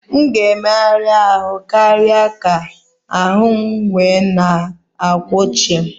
M ga-emegha ahụ́ karịa ka ahụ́ m wee na akwụ chịm